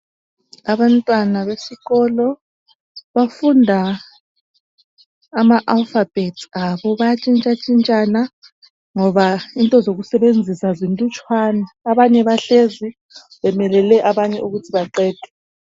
Abantwana besikolo bafunda ama alpha bets abo bayantshitsha tshintshana ngoba into zokusebenzisa zinlutshwana abanye bahlezi bemelele abanye ukuthi baqede